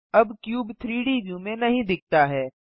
अब क्यूब 3Dव्यू में नहीं दिखता है